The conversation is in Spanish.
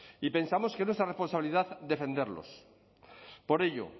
y pensamos que es nuestra responsabilidad defenderlos por ello